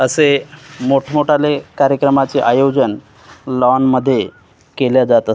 असे मोठमोठाले कार्यक्रमाचे आयोजन लॉनमध्ये केल्या जातात.